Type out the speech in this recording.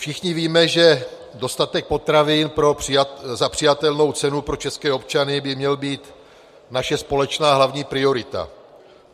Všichni víme, že dostatek potravin za přijatelnou cenu pro české občany by měl být naše společná hlavní priorita.